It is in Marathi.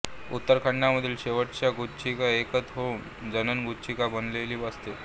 उदर खंडामधील शेवटच्या गुच्छिका एकत्र येऊन जनन गुच्छिका बनलेली असते